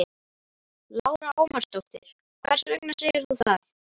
Lára Ómarsdóttir: Hvers vegna segir þú það?